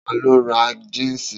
Ta ló ra jínsì